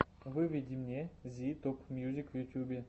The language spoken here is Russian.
выведи мне зи топмьюзик в ютюбе